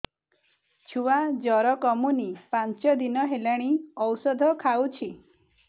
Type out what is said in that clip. ଛୁଆ ଜର କମୁନି ପାଞ୍ଚ ଦିନ ହେଲାଣି ଔଷଧ ଖାଉଛି